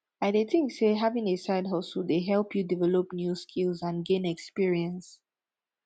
i dey think say having a sidehustle dey help you develop new skills and gain experience